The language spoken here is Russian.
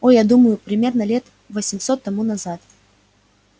о я думаю примерно лет восемьсот тому назад